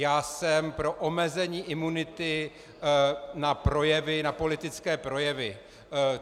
Já jsem pro omezení imunity na projevy - na politické projevy.